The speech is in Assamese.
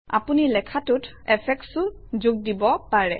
আপুনি লেখাটোত এফেক্টচও যোগ দিব পাৰে